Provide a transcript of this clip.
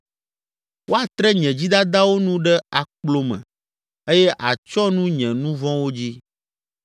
Woatre nye dzidadawo nu ɖe akplo me eye àtsyɔ nu nye nu vɔ̃wo dzi.